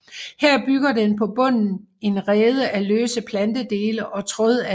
Her bygger den på bunden en rede af løse plantedele og trådalger